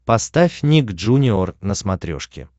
поставь ник джуниор на смотрешке